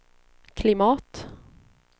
klimat